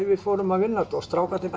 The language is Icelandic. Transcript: við fórum að vinna þetta strákarnir